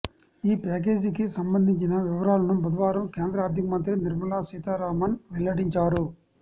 ఈ ప్యాకేజీకి సంబంధించిన వివరాలను బుధవారం కేంద్ర ఆర్థికమంత్రి నిర్మలాసీతారామన్ వెల్లడించారు